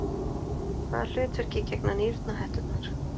Hvaða hlutverki gegna nýrnahetturnar?